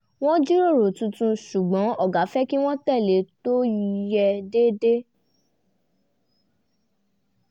wọ́n jíròrò tuntun ṣùgbọ́n ọ̀gá fẹ́ kí wọ́n tẹ̀lé tó yẹ déédéé